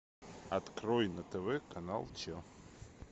открой на тв канал че